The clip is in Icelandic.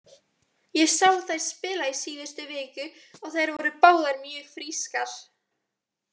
Ég sá þær spila í síðustu viku og þær voru báðar mjög frískar.